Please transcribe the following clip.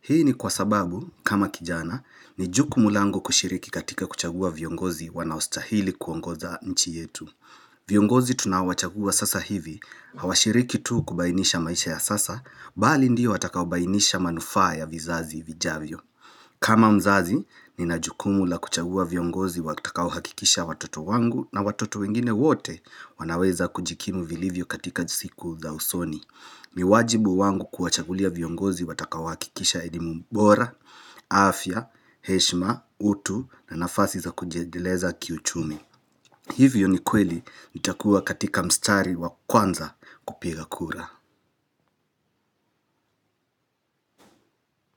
Hii ni kwa sababu, kama kijana, ni jukumu langu kushiriki katika kuchagua viongozi wanaostahili kuongoza nchi yetu. Viongozi tunawachagua sasa hivi, hawashiriki tu kubainisha maisha ya sasa, bali ndiyo watakao bainisha manufa ya vizazi vijavyo. Kama mzazi, nina jukumu la kuchagua viongozi watakao hakikisha watoto wangu na watoto wengine wote wanaweza kujikimu vilivyo katika siku za usoni ni wajibu wangu kuwachagulia viongozi watakao hakikisha elimu bora, afya, heshima, utu na nafasi za kujiedeleza kiuchumi Hivyo ni kweli nitakuwa katika mstari wa kwanza kupiga kura.